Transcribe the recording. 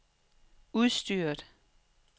udstyret